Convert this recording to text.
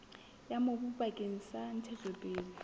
ya mobu bakeng sa ntshetsopele